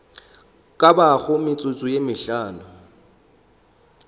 ka bago metsotso ye mehlano